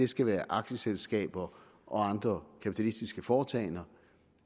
skal være aktieselskaber og andre kapitalistiske foretagender